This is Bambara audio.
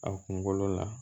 A kunkolo la